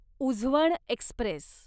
Uzhavan Express